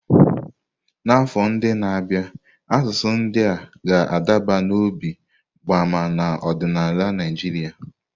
N'afọ ndị na-abịa, asụsụ ndị a ga-adaba n'obi mgbama n'ọdịnala Naịjirịa.